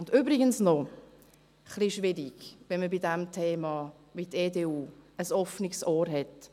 Und übrigens noch dies: Es ist etwas schwierig, wenn man bei diesem Thema wie die EDU «ein offenes Ohr» hat.